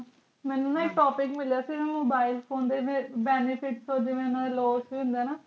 ਅੱਛਾ ਮੇਨੂ ਹਿਕ topic ਮਿਲਿਆ ਸੀ ਨਾ mobile phone ਦੇ benefits ਉਹ ਡੀ loss ਹੋਂਦ ਆਈ ਨਾ